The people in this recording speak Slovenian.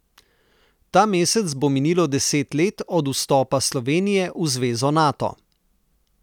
Ta mesec bo minilo deset let od vstopa Slovenije v zvezo Nato.